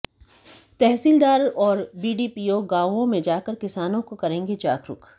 तहसीलदार और बीडीपीओ गांवों में जाकर किसानों को करेंगे जागरुक